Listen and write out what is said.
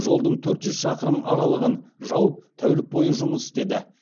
жолдың төрт жүз шақырым аралығын жауып тәулік бойы жұмыс істеді